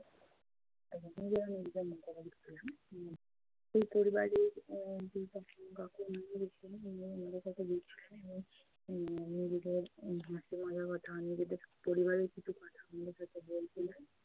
নিজেরা নিজেদের মতো সেই পরিবারের নিজেদের কথা বলছিলেন এবং নিজেদের হাসি মজার কথা নিজেদের পরিবারের কিছু কথা আমাদের সাথে বলছিলেন।